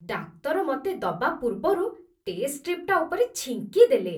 ଡାକ୍ତର ମତେ ଦବା ପୂର୍ବରୁ ଟେଷ୍ଟ ଷ୍ଟ୍ରିପ୍‌ଟା ଉପରେ ଛିଙ୍କିଦେଲେ ।